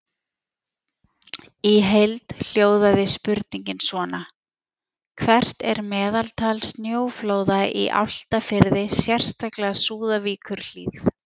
Í heild hljóðaði spurningin svona: Hvert er meðaltal snjóflóða í Álftafirði, sérstaklega Súðavíkurhlíð?